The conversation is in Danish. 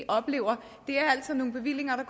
oplever er altid nogle bevillinger der